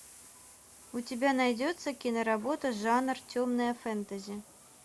у тебя найдется киноработа жанр темное фэнтези